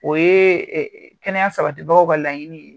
O ye kɛnɛya sabatibagaw ka laɲini ye